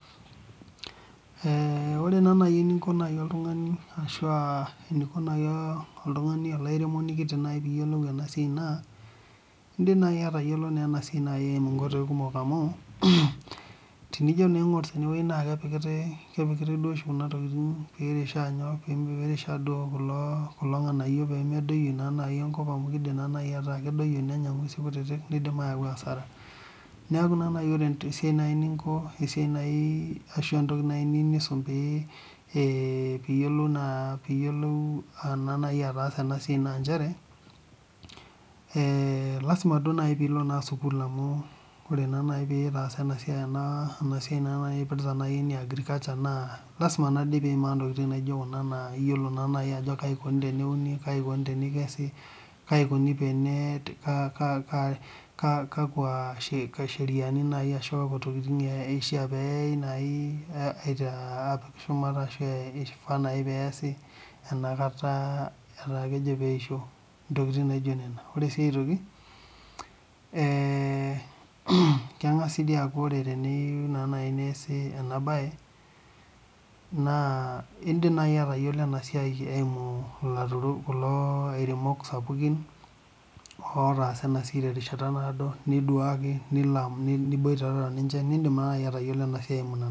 Ore naa naaji eninko oltung'ani arashua eniko naaji olairemoni kiti pee eyiolou ena siai naa edim naaji atayiolo ena siai eyimu nkoitoi kumok amu tenijo naa aing'or tenewueji naa kepikitai duo oshi Kuna tokitin pee eirisha kulo nganayio pee medoiko enkop amu kidim ata kedoyio nenya ng'uesi kutiti neyau asara neeku ore naaji esiai ashu enkoki naaji nayieu nisum pee eyiolou ataasa ena siai naa njere lasima naa naaji pee elo sukuul pee etaasa ena siai naaji ene agriculture naa lasima piyimaa ntokitin naijio Kuna kaji eikoni teneuni kaji eikoni tenekesi kaji eikoni Kakwa sheriani ashua Kakwa tokitin eishaa neyai apik shumata ashu aifaa naaji pee eyasi enakata etaa kejoo pee eyisho ore sii aitoki keng'as sii aku teniyieu naaji neese ena mbae naa edim atayiolo enasiai eyimu kulo aturok sapukin otasaa enasiai terishata nadoo nilo niduake aboitare ninche nidim atayiolo ena siai